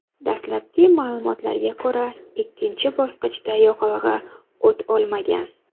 Dastlabki ma’lumotlarga ko‘ra, ikkinchi bosqichda yoqilg‘i o‘t olmagan.